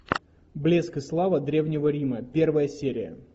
блеск и слава древнего рима первая серия